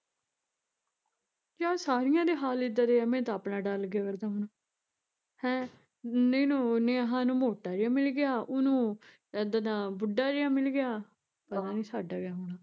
ਯਾਰ ਸਾਰੀਆਂ ਦੇ ਹਾਲ ਇਦਾਂ ਦੇ ਐ ਮੈਨੂੰ ਤਾਂ ਆਪਣਾ ਡਰ ਲੱਗਿਆ ਕਰਦਾ ਹੁਣ ਹੈਂ, ਇਹਨੂੰ ਨੇਹਾ ਨੂੰ ਮੋਟਾ ਜਿਹਾ ਮਿਲਗਿਆ, ਉਹਨੂੰ ਏਡਾ ਦਾ ਬੁਸ਼ ਜਿਹਾ ਮਿਲ ਗਿਆ ਪਤਾ ਨੀ ਸਾਡਾ ਕਿਆ ਹੋਣਾ